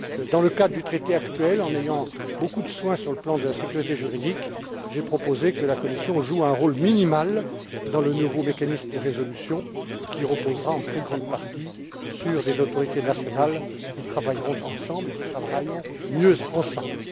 Dans le cadre du traité actuel, en prenant beaucoup de précautions sur le plan de la sécurité juridique, j'ai proposé que la Commission joue un rôle minimal dans le nouveau mécanisme de résolution, qui reposera en très grande partie sur des autorités nationales qui travailleront mieux ensemble.